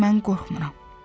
Mən qorxmuram.